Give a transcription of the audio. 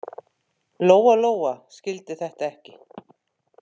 Lóa-Lóa skildi þetta ekki.